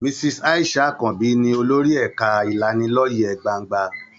Mrs. Aisha Àkànbí ni olórí ẹ̀ka ìlanilọ́yẹ gbangba.